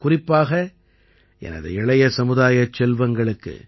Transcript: குறிப்பாக எனது இளைய சமுதாயச் செல்வங்களுக்கு